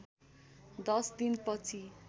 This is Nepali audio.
दश दिन पछि